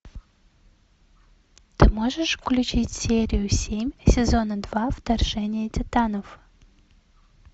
ты можешь включить серию семь сезона два вторжение титанов